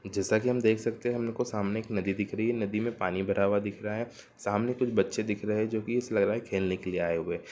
जैसा कि हम देख सकते हैं हमको सामने एक नदी दिख रही है| नदी में पानी भरा हुआ दिख रहा है | सामने कुछ बच्चे दिख रहे हैं जो कि ऐसा लग रहा है की खेलने के लिए आए हुए हैं।